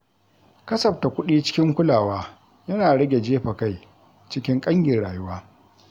Kasafta kuɗi cikin kulawa yana rage jefa kai cikin ƙangin rayuwa.